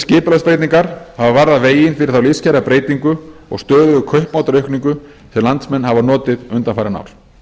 skipulagsbreytingar hafa varðað veginn fyrir þá lífskjarabreytingu og stöðugu kaupmáttaraukningu sem landsmenn hafa notið undanfarin ár